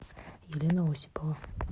елена осипова